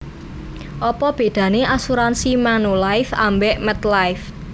Opo bedane asuransi Manulife ambek MetLife?